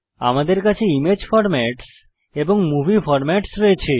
আমাদের কাছে image formats এবং মুভি ফরম্যাটস রয়েছে